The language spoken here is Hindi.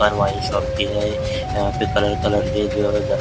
यहाँ पर वाइन शॉप कि है यहाँ पे कलर कलर के जो है।